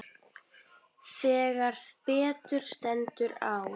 Þegar betur stendur á